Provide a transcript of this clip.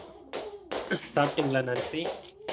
சாப்பிட்டிங்களா Nancy